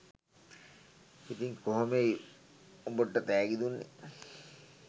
ඉතිං කොහොමෙයි උබට තෑගි දුන්නේ.